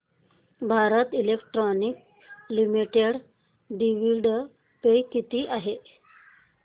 Bharat electronics limited dividend pay किती आहे